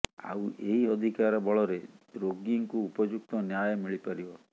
ଆଉ ଏହି ଅଧିକାର ବଳରେ ରୋଗୀଙ୍କୁ ଉପଯୁକ୍ତ ନ୍ୟାୟ ମିଳିପାରିବ